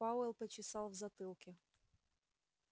пауэлл почесал в затылке